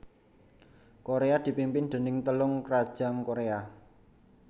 Koréa dipimpin déning Telung krajan Koréa